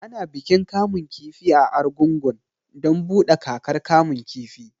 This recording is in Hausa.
Ana bikin kamun kifi a Argungun don buɗe kakar kamun kifi